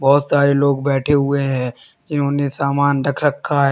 बहुत सारे लोग बैठे हुए हैं जिन्होंने सामान रख रखा है।